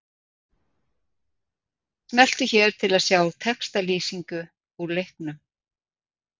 Smelltu hér til að sjá textalýsingu úr leiknum